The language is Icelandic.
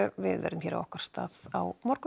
við verðum hér á okkar stað á morgun